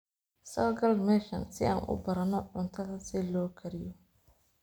Sokal meshan sii an uubarano cuntadha siilokariyo.